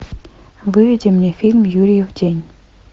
выведи мне фильм юрьев день